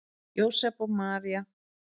Jósep og María